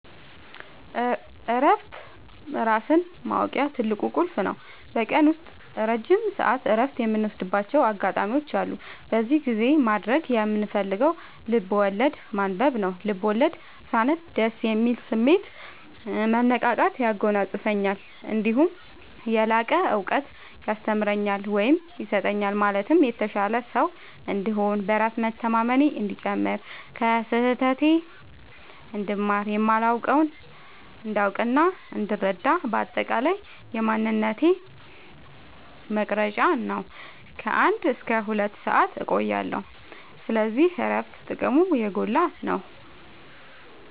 እረፍት ራስን ማወቂያ ትልቁ ቁልፍ ነው። በቀን ውስጥ ረጅም ሰዓት እረፍት የምወስድባቸው አጋጣዎች አሉ። በዚህ ጊዜ ማድረግ የምፈልገው ልብዐወለድ ማንበብ ነው፤ ልቦለድ ሳነብ ደስ የሚል ስሜት፣ መነቃቃት ያጎናፅፈኛል። እነዲሁም የላቀ እውቀት ያስተምረኛል ወይም ይሰጠኛል ማለትም የተሻለ ሰው እንድሆን፣ በራስ መተማመኔ እንዲጨምር፣ ከስህተቴ እንድማር፣ የማላውቀውን እንዳውቅናእንድረዳ በአጠቃላይ የማንነቴ መቅረጽያ ነው። ከ አንድ እስከ ሁለት ሰአት እቆያለሁ። ስለዚህ እረፍት ጥቅሙ የጎላ ነው።